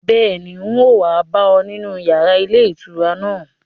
Bẹ́ẹ̀ni, un ó wa bá ọ nínú yàrá ilé ìtura náà